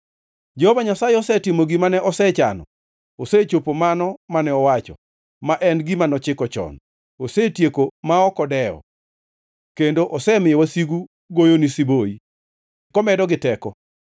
Jehova Nyasaye osetimo gima ne osechano; osechopo mano mane owacho, ma en gima nochiko chon. Osetieki ma ok odewo, kendo osemiyo wasigu goyoni siboi, komedogi teko.